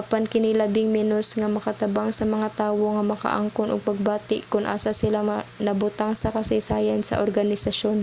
apan kini labing menos nga makatabang sa mga tawo nga makaangkon og pagbati kon asa sila nabutang sa kasaysayan sa organisasyon